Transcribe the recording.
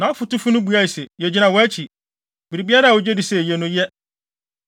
Nʼafotufo no buae se, “Yegyina wʼakyi. Biribiara a wugye di sɛ eye no, yɛ.”